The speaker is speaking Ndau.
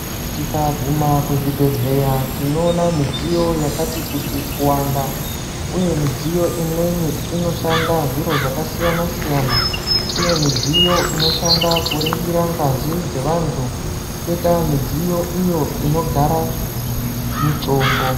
Tikaguma kuzvibhehleya tinoona midziyo yakati kuti kuwanda uye midziyo imweni inoshanda zviro zvakasiyanasiyana kune midziyo inoshanda kuringira ngazi dzevantu kwoita iyo inogara mitombo.